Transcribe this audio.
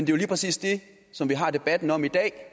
jo lige præcis det som vi har debatten om i dag